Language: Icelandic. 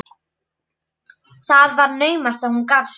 Það var naumast að hún gat sofið.